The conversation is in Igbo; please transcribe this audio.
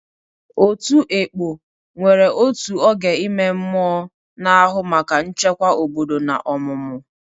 Otu "Ekpo" nwere otu oge ime mmụọ, na-ahụ maka nchekwa obodo na ọmụmụ.